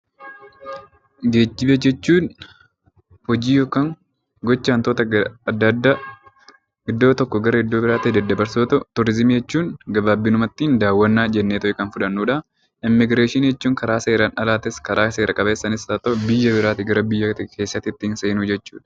Geejiba jechuun hojii yookaan gocha waantota addaa addaa gara tokkoo gara iddoo biraatti daddabarsuu yoo ta'u, turizimii jechuun gabaabumatti daawwannaa jechuudha. Immigireeshinii jechuun karaa seeraan alaa fi seera qabeessaanis haa ta'uu, biyya gara biyyaatti ittiin seenuu jechuudha.